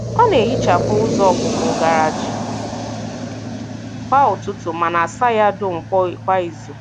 Ọ na-ehichapụ ụzọ ọpụpụ garaaji kwa ụtụtụ ma na-asa ya dum kwa izu.